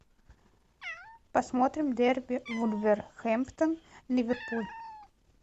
посмотрим дерби вулверхэмптон ливерпуль